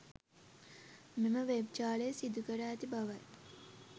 මෙම වෙබ් ජාලය සිදුකර ඇති බවයි.